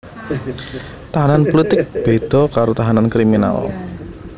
Tahanan pulitik béda karo tahanan kriminal